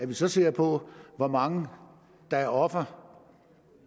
vi så ser på hvor mange der er ofre